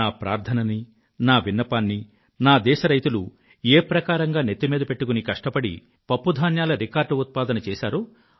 నా ప్రార్థనని నా విన్నపాన్నీ నా దేశ రైతులు ఏ ప్రకారంగా నెత్తిమీద పెట్టుకుని కష్టపడి పప్పుధాన్యాల రికార్డ్ ఉత్పాదన చేశారో